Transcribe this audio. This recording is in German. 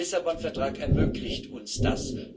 Der Lissabon Vertrag ermöglicht uns das.